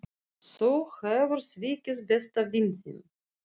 Þú hefur svikið besta vin þinn.